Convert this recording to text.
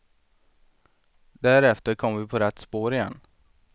Därefter kom vi på rätt spår igen.